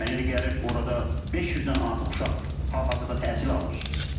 Mən elə gəlir, orada 500-dən artıq uşaq hal-hazırda təhsil alır.